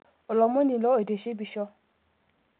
Olomoni ilo oitishipisho